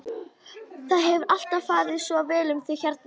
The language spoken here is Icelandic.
Það hefur alltaf farið svo vel um þig hérna.